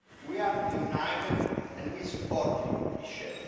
We are united and we support you, Michel.